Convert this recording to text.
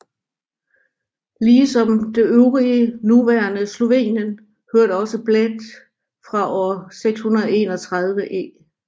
Ligesom det øvrige nuværende Slovenien hørte også Bled fra år 631 e